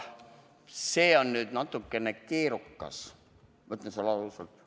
See on nüüd natukene keerukas, ma ütlen sulle ausalt.